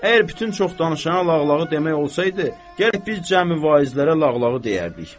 Əgər bütün çox danışana lağlağı demək olsaydı, gərək biz cəmivaizlərə lağlağı deyərdik.